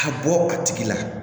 Ka bɔ a tigi la